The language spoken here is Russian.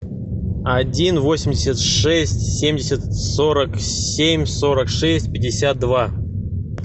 один восемьдесят шесть семьдесят сорок семь сорок шесть пятьдесят два